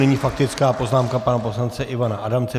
Nyní faktická poznámka pana poslance Ivana Adamce.